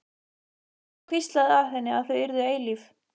Og hann hvíslaði að henni að þau yrðu eilíf.